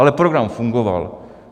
Ale program fungoval.